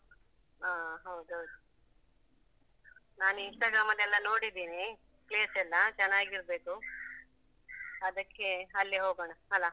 ಹ ಹೌದೌದು. ನಾನು Instagram ಅಲ್ಲೆಲ್ಲ ನೋಡಿದ್ದೇನೆ place ಎಲ್ಲಾ ಚೆನ್ನಾಗಿರ್ಬೇಕು , ಅದಕ್ಕೆ ಅಲ್ಲಿ ಹೋಗೋಣ ಅಲಾ?